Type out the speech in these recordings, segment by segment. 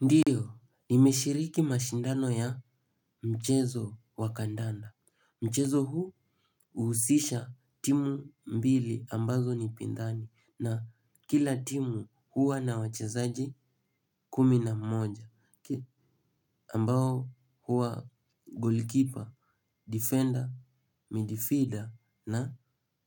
Ndiyo, nimeshiriki mashindano ya mchezo wa kandanda. Mchezo huu huhusisha timu mbili ambazo ni pinzani na kila timu huwa na wachezaji kumi na mmoja. Ambao huwa golikipa, difenda, midifida na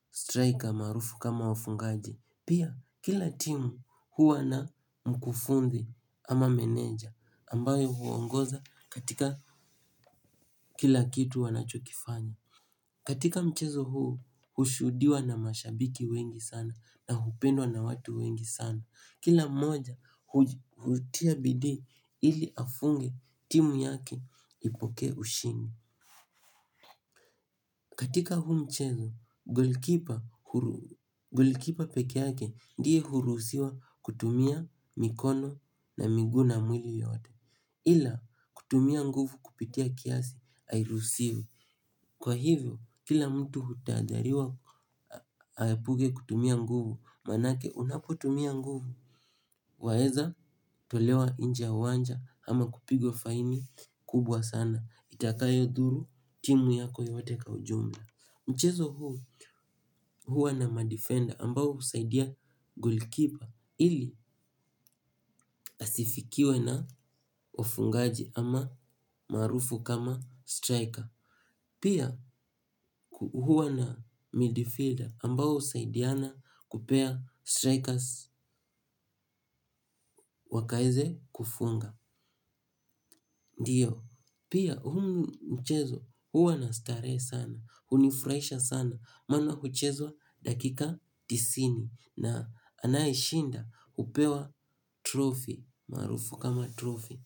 straika maarufu kama wafungaji. Pia kila timu huwa na mkufunzi ama meneja ambaye huongoza katika kila kitu wanachokifanya, katika mchezo huu hushudiwa na mashabiki wengi sana na hupendwa na watu wengi sana. Kila moja hutia bidii ili afunge timu yake ipokee ushindi. Katika huu mchezo, golikipa hu golikipa peke yake ndiye hurusiwa kutumia mikono na miguu na mwili yote. Ila kutumia nguvu kupitia kiasi hairuhusiwi. Kwa hivyo, kila mtu hutahadhariwa aepuke kutumia nguvu, maanake unapotumia nguvu. Waweza tolewa nje ya uwanja ama kupigwa faini kubwa sana, itakayodhuru timu yako yote kwa ujumla. Mchezo huu huwa na madifenda ambao husaidia golikipa ili asifikiwe na wafungaji ama maarufu kama straika. Pia huwa na midifida ambao husaidiana kupea straikazi wakaweze kufunga. Ndiyo, pia huu mchezo huwa na starehe sana, hunifraisha sana, maana huchezwa dakika tisini na anayeshinda hupewa trofi, maarufu kama trofi.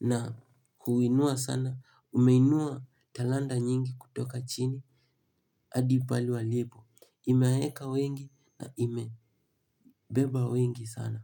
Na huinua sana, umeinua talanta nyingi kutoka chini hadi pale walipo, imewaweka wengi na imebeba wengi sana.